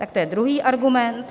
Tak to je druhý argument.